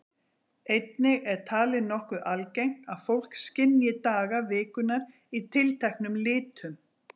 Einnig er talið nokkuð algengt að fólk skynji daga vikunnar í tilteknum litum.